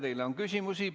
Teile on küsimusi.